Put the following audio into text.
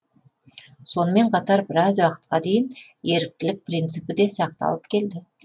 сонымен қатар біраз уақытқа дейін еріктілік принципі де сақталып келді